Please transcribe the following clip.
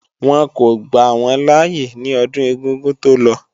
Wọ́n kò gbà wọ́n láyé ní ọdún ẹ̀gúngún tó lọ